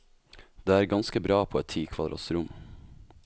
Det er ganske bra på et ti kvadrats rom.